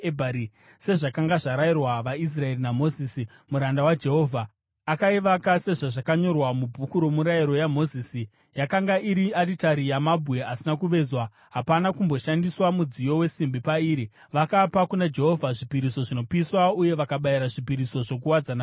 sezvakanga zvarayirwa vaIsraeri naMozisi muranda waJehovha. Akaivaka sezvazvakanyorwa muBhuku roMurayiro waMozisi. Yakanga iri aritari yamabwe asina kuvezwa, hapana kumboshandiswa mudziyo wesimbi pairi. Vakapa kuna Jehovha zvipiriso zvinopiswa uye vakabayira zvipiriso zvokuwadzana pairi.